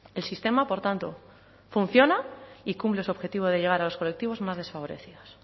el sistema por tanto funciona y cumple su objetivo de llegar a los colectivos más desfavorecidos